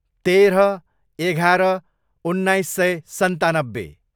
तेह्र, एघार, उन्नाइस सय सन्तानब्बे